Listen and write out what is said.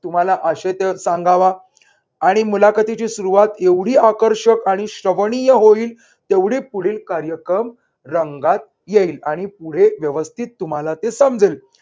तुम्हाला आशय तर सांगावा आणि मुलाखतीची सुरुवात एवढी आकर्षक आणि श्रवणीय होईल तेवढी पुढील कार्यक्रम रंगात येईल आणि पुढे व्यवस्थित तुम्हाला ते समजेल.